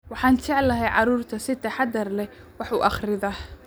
Waxaan jeclahay carruurta si taxadar leh wax u akhrida